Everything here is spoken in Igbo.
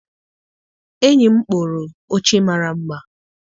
Enyi m kpụrụ oche mara mma.